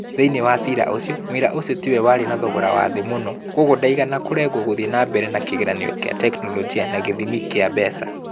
Thĩinĩ wa ciira ũcio mũira ũcio tiwe warĩ na thogora wa thĩ mũno. Kwoguo ndaigana kũregwo gũthiĩ na mbere na kĩgeranio kĩa tekinolonjĩ na gĩthimi gĩa mbeca.